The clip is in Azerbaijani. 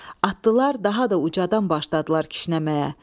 Atdılar, daha da ucadan başladılar kişnəməyə.